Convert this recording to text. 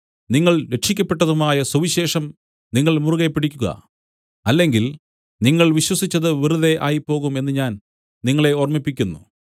നിങ്ങൾ രക്ഷിക്കപ്പെട്ടതുമായ സുവിശേഷം നിങ്ങൾ മുറുകെപ്പിടിക്കുക അല്ലെങ്കിൽ നിങ്ങൾ വിശ്വസിച്ചത് വെറുതെ ആയിപ്പോകും എന്ന് ഞാൻ നിങ്ങളെ ഓർമ്മിപ്പിക്കുന്നു